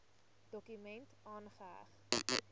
dokument aangeheg